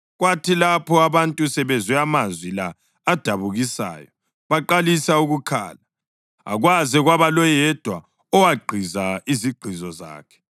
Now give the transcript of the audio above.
Kwathi lapho abantu sebezwe amazwi la adabukisayo baqalisa ukukhala, akwaze kwaba loyedwa owagqiza izigqizo zakhe.